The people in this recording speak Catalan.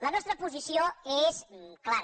la nostra posició és clara